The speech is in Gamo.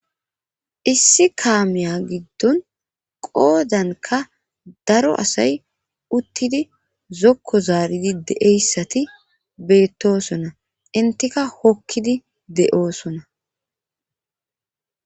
issi kaamiya giddon qoodanka daro asay uttidi zokko zaaridi deeyssati beettosona intika hokkidi de7oosona